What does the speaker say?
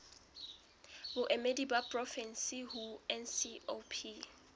baemedi ba porofensi ho ncop